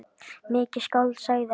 Mikið skáld, sagði hann.